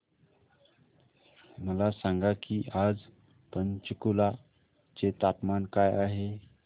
मला सांगा की आज पंचकुला चे तापमान काय आहे